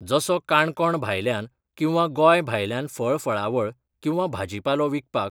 जसो काणकोण भायल्यान किंवा गोंय भायल्यान फळ फळावळ किंवा भाजीपालो विकपाक